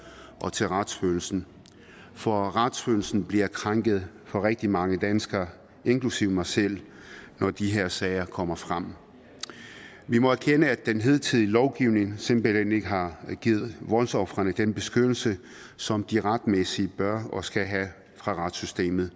og til retsfølelsen for retsfølelsen bliver krænket for rigtig mange danskere inklusive mig selv når de her sager kommer frem vi må erkende at den hidtidige lovgivning simpelt hen ikke har givet voldsofrene den beskyttelse som de retmæssigt bør og skal have fra retssystemets